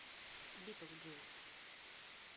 битлджус